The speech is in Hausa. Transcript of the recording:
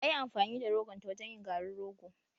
Ta yi amfani da rogonta wajen yin garin rogo